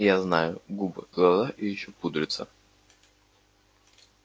я знаю губы глаза и ещё пудрится